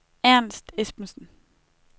Ernst Esbensen